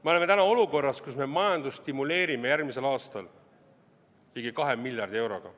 Me oleme täna olukorras, kus me majandust stimuleerime järgmisel aastal ligi 2 miljardi euroga.